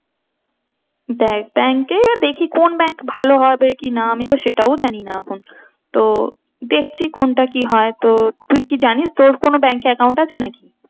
দেখ bank এ দেখি কোন bank ভালো হবে কি না আমি তো সেটাও জানি না এখন। তো দেখছি কোনটা কি হয় তো তুই কি জানিস তোর কোনো bank এ account আছে নাকি?